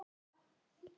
Minn og þinn.